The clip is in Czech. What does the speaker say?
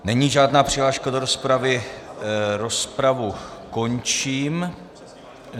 Není žádná přihláška do rozpravy, rozpravu končím.